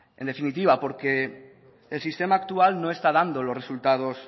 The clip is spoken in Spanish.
en definitiva porque el sistema actual no está dando los resultados